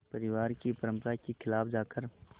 परिवार की परंपरा के ख़िलाफ़ जाकर